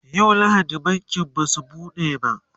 yau lahadi bankin Basu buɗe ba